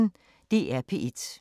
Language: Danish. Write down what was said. DR P1